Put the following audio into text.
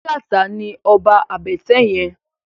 Lagata ni òbá àbètè yèn